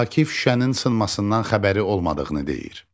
Akif şüşənin sınmasından xəbəri olmadığını deyir.